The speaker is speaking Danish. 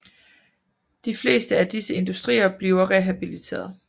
De fleste af disse industrier bliver rehabiliteret